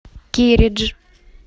кередж